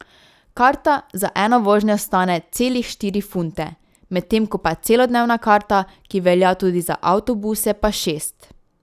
Karta za eno vožnjo stane celih štiri funte, medtem ko pa celodnevna karta, ki velja tudi za avtobuse pa šest.